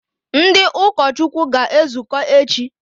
Ndị ụkọchukwu ga-ezukọ echi?